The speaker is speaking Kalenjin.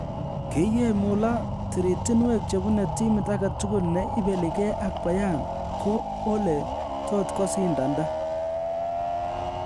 Kiywei Muller, tiritinwek chebune timit agetugul ne ibeligee ak Bayern ko ole tot kosindanda